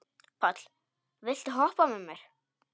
Páll, viltu hoppa með mér?